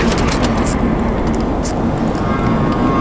पीछे चार स्कूटर खड़ी है स्कूटर काले रंग की हैं।